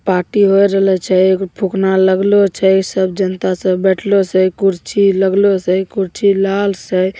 party हो रे लई छय एक फुकना लग ले छय सब जनता सब बैठलो छे कुरछी लग ले से कुरछी लाल से--